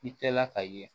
I kɛla ka ye